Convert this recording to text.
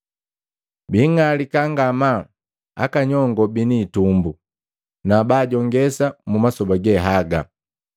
Bing'alika ngamaa aka nyongo bini hitumbu na bajongesa mu masoba ge haga!